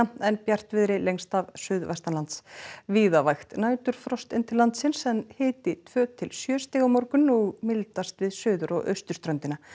en bjartviðri lengst af suðvestanlands víða vægt næturfrost inn til landsins en hiti tvö til sjö stig á morgun og mildast við suður og austurströndina